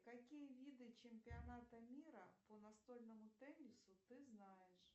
какие виды чемпионата мира по настольному теннису ты знаешь